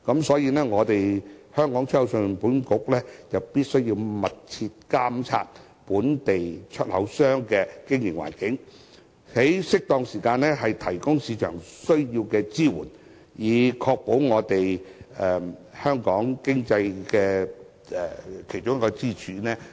所以，信保局必須密切監察本地出口商的經營環境，在適當時間提供市場需要的支援，以保障出口業這一條經濟支柱。